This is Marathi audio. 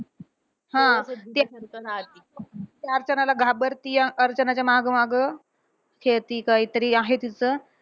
हा. ती अर्चनाला घाबरतीये. अर्चनाच्या मागं मागं खेळती कायतरी आहे तिचं.